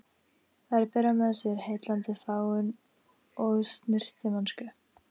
Þær bera með sér heillandi fágun og snyrtimennsku.